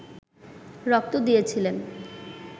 রক্ত দিয়েছিলেন